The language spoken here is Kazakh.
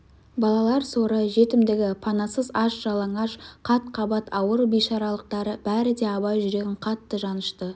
балалар соры жетімдігі панасыз аш-жалаңаш қат-қабат ауыр бейшаралықтары бәрі де абай жүрегін қатты жанышты